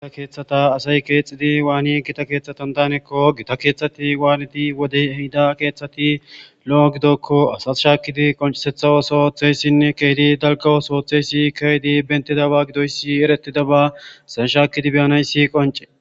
Gita kethata asay kexid waan Gita kethatan danakon wanid wodey ehida kethati lo'o gidiyakon shakid concisetha ooso oothiyasine keeh dalga ootho othiyays eretidaba.